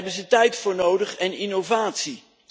Daar hebben ze tijd voor nodig en innovatie.